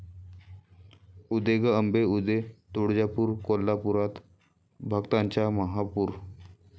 उदे गं अंबे उदे...तुळजापूर, कोल्हापूरात भक्तांचा महापूर!